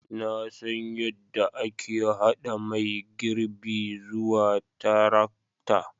Na san yadda ake haɗa mai girbi zuwa tarakta